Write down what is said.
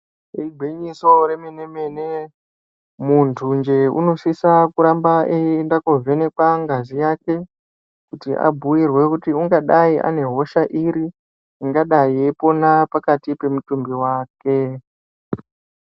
Igwinyiso remene-mene muntu nje unosisa kuramba eienda kuovenekwa ngazi yake kuti abhuirwe kuti ungadai ane hosha iri ingadai yeipona pakati pamutumbi wake.